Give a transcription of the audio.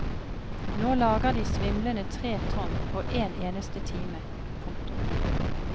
Nå lager de svimlende tre tonn på én eneste time. punktum